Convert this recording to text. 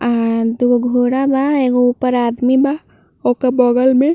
आ दू गो घोड़ा बा। एगो ऊपर आदमी बा ओके बगल में।